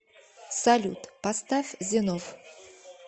салют поставь зенов